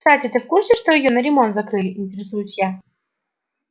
кстати ты в курсе что её на ремонт закрыли интересуюсь я